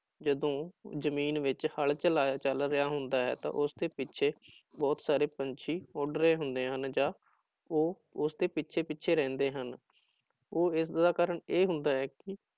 ਜਦੋਂ ਜ਼ਮੀਨ ਵਿੱਚ ਹਲ ਚਲਾਇਆ ਚੱਲ ਰਿਹਾ ਹੁੰਦਾ ਹੈ ਤਾਂ ਉਸਦੇ ਪਿੱਛੇ ਬਹੁਤ ਸਾਰੇ ਪੰਛੀ ਉੱਡ ਰਹੇ ਹੁੰਦੇ ਹਨ ਜਾਂ ਉਹ ਉਸਦੇ ਪਿੱਛੇ ਪਿੱਛੇ ਰਹਿੰਦੇ ਹਨ, ਉਹ ਇਸਦਾ ਕਾਰਨ ਇਹ ਹੁੰਦਾ ਹੈ ਕਿ